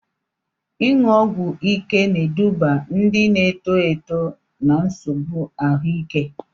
Ịṅụ ọgwụ ike na-eduba ndị na-eto eto na nsogbu ahụike.